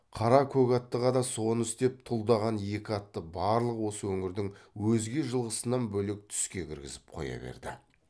қара көк аттыға да соны істеп тұлдаған екі атты барлық осы өңірдің өзге жылқысынан бөлек түске кіргізіп қоя берді